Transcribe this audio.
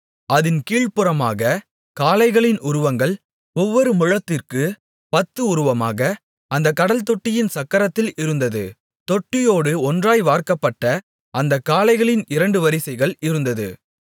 அதின் கீழ்ப்புறமாக காளைகளின் உருவங்கள் ஒவ்வொரு முழத்திற்குப் பத்து உருவமாக அந்தக் கடல்தொட்டியின் சக்கரத்தில் இருந்தது தொட்டியோடு ஒன்றாய் வார்க்கப்பட்ட அந்தக் காளைகளின் இரண்டு வரிசைகள் இருந்தது